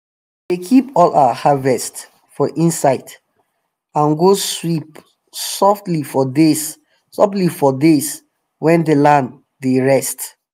we dey keep all our harvest for inside and go sweep softly for days softly for days when the land dey rest.